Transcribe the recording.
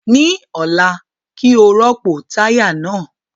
Ní ọ̀la, kí ó rọ́pò táyà náà